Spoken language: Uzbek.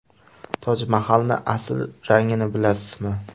Tojmahalning asl rangini bilasizmi?.